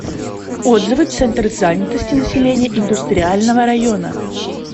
отзывы центр занятости населения индустриального района